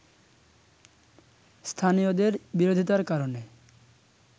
স্থানীয়দের বিরোধিতার কারণে